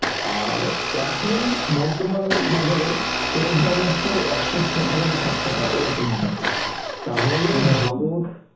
আর এখন বর্তমানে বাজারে তেলের দাম হচ্ছে একশো ছ টাকা না সাত টাকা এরকম হবে তাহলে